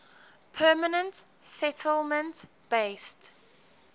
permanent settlement based